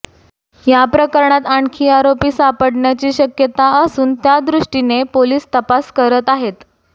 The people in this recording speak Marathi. या प्रकरणात आणखी आरोपी सापडण्याची शक्यता असून त्यादृष्टीने पोलीस तपास करत आहेत